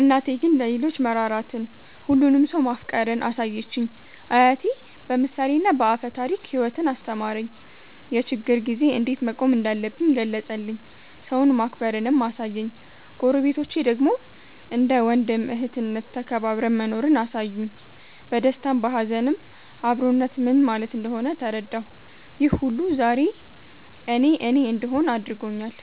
እናቴ ግን ለሌሎች መራራትን፣ ሁሉንም ሰው ማፍቀርን አሳየችኝ። አያቴ በምሳሌና በአፈ ታሪክ ሕይወትን አስተማረኝ፤ የችግር ጊዜ እንዴት መቆም እንዳለብኝ ገለጸልኝ፤ ሰውን ማክበርንም አሳየኝ። ጎረቤቶቼ ደግሞ እንደ ወንድም እህትነት ተከባብረን መኖርን አሳዩኝ፤ በደስታም በሀዘንም አብሮነት ምን ማለት እንደሆነ ተረዳሁ። ይህ ሁሉ ዛሬ እኔ እኔ እንድሆን አድርጎኛል።